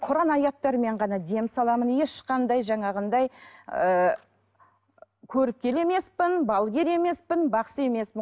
құран аяттармен ғана дем саламын ешқандай жаңағындай ыыы көріпкел емеспін балгер емеспін бақсы емеспін